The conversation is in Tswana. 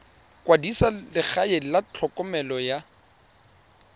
kwadisa legae la tlhokomelo ya